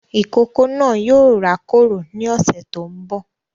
Ìkókó náà yóò rá kòrò ni ọsẹ tó ń bọ̀